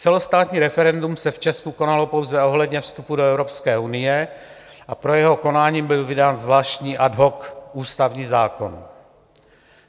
Celostátní referendum se v Česku konalo pouze ohledně vstupu do Evropské unie a pro jeho konání byl vydán zvláštní ad hoc ústavní zákon.